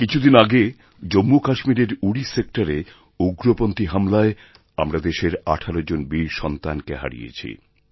কিছু দিন আগে জম্মুকাশ্মীরের উরি সেক্টরে উগ্রপন্থী হামলায় আমরা দেশের আঠেরো জন বীর সন্তানকে হারিয়েছি